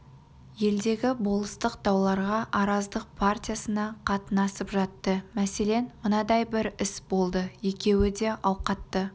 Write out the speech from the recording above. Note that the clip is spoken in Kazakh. елдегі болыстық дауларға араздық партиясына қатынасып жатты мәселен мынадай бір іс болды екеуі де ауқатты